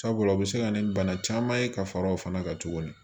Sabula o be se ka na ni bana caman ye ka far'o fana kan tuguni